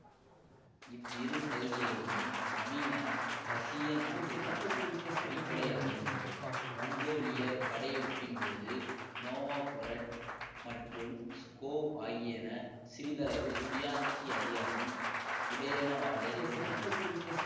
இவ்விரு பகுதிகளுமே நவீன ரசிய நாட்டுக்கான அடிப்படையாகும் மொங்கோலியப் படையெடுப்பின்போது நோவோகொரட் மற்றும் ஸ்கோவ் ஆகியன சிறிதளவு சுயாட்சி அதிகாரம் உடையனவாக இருந்தன